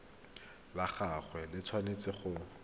la gagwe le tshwanetse go